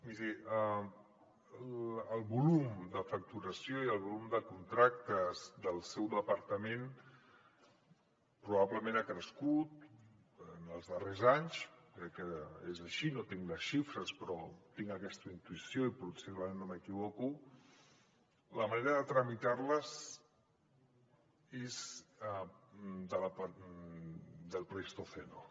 miri el volum de facturació i el volum de contractes del seu departament probablement ha crescut en els darrers anys crec que és així no tinc les xifres però tinc aquesta intuïció i possiblement no m’equivoco la manera de tramitar los és del pleistoceno